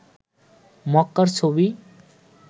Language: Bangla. মক্কার ছবি